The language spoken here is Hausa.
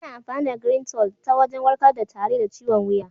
Ana amfani da "Greentol" ta wajen warkar da tari da ciwon wuya.